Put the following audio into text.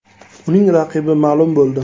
Uning raqibi ma’lum bo‘ldi.